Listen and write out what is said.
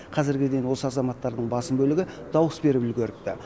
қазірге дейін осы азаматтардың басым бөлігі дауыс беріп үлгеріпті